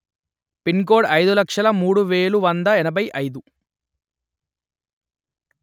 pin code అయిదు లక్షలు మూడు వెలు వంద ఎనభై అయిదు